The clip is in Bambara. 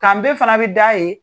Ka be fana bi da ye